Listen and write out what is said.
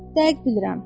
Dəqiq bilirəm.